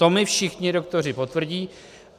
To mi všichni doktoři potvrdí.